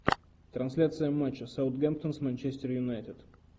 трансляция матча саутгемптон с манчестер юнайтед